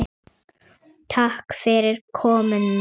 Takk fyrir komuna.